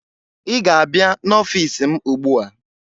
Ị ga-abịa n'ọfiisi m ugbu a!